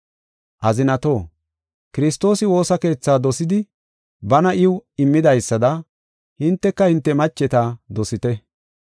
Azinatoo, Kiristoosi woosa keethaa dosidi bana iw immidaysada hinteka hinte macheta dosite.